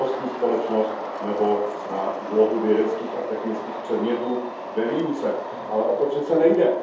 znalostní společnost nebo na úlohu vědeckých a technických předmětů ve výuce, ale o to přeci nejde.